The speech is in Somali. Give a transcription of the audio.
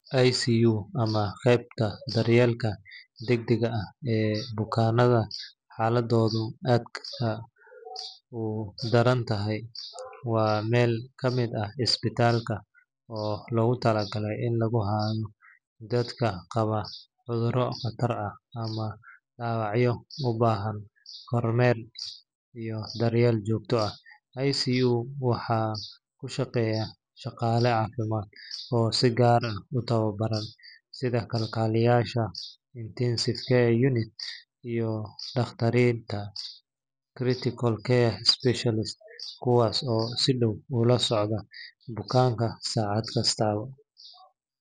ICU ama qaybta daryeelka degdegga ah ee bukaanada xaaladoodu aadka u daran tahay waa meel ka mid ah isbitaalka oo loogu talagalay in lagu hayo dadka qaba cudurro khatar ah ama dhaawacyo u baahan kormeer iyo daryeel joogto ah. ICU waxaa ku shaqeeya shaqaale caafimaad oo si gaar ah u tababaran, sida kalkaaliyeyaasha intensive care nurses iyo dhakhaatiirta critical care specialists, kuwaas oo si dhow ula socda bukaanka saacad kasta.